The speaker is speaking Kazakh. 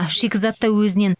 шикізат та өзінен